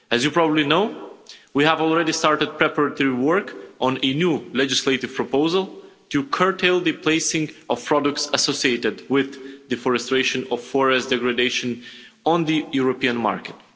As you probably know, we have already started preparatory work on a new legislative proposal to curtail the placing of products associated with deforestation or forest degradation on the European market.